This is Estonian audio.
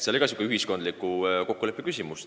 Seegi oli ühiskondliku kokkuleppe küsimus.